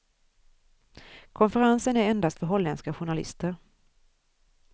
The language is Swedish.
Konferensen är endast för holländska journalister.